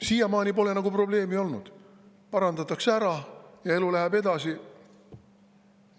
Siiamaani pole nagu probleemi olnud, kaablid parandatakse ära ja elu läheb edasi.